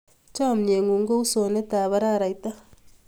Chamyengung ko u usonet ap araraita